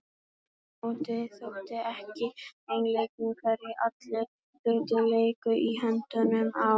Aftur á móti þótti ekki einleikið hvernig allir hlutir léku í höndunum á